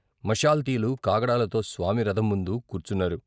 మషాల్తీలు కాగడాలతో స్వామి రథం ముందు కూర్చున్నారు.